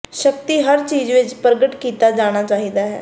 ਸਕਤੀ ਹਰ ਚੀਜ ਵਿੱਚ ਪ੍ਰਗਟ ਕੀਤਾ ਜਾਣਾ ਚਾਹੀਦਾ ਹੈ